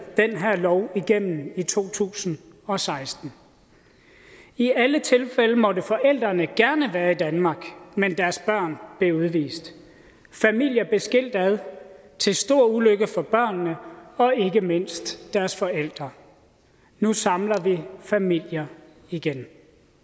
den her lov igennem i to tusind og seksten i alle tilfælde måtte forældrene gerne være i danmark men deres børn blev udvist familier blev skilt ad til stor ulykke for børnene og ikke mindst deres forældre nu samler vi familier igen